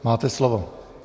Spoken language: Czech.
Máte slovo.